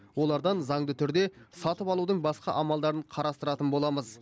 олардан заңды түрде сатып алудың басқа амалдарын қарастыратын боламыз